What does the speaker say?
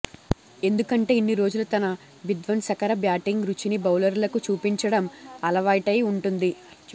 ఎందుకంటే ఇన్నిరోజులు తన విధ్వంసకర బ్యాటింగ్ రుచిని బౌలర్లకు చూపించడం అలవాటైవుంటుంది